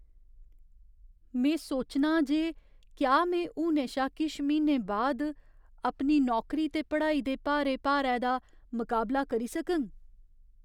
में सोचनां जे क्या में हुनै शा किश म्हीनें बाद अपनी नौकरी ते पढ़ाई दे भारे भारै दा मकाबला करी सकङ।